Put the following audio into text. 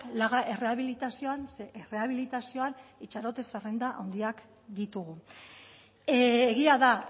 laga errehabilitazioan ze errehabilitazioan itxarote zerrenda handiak ditugu egia da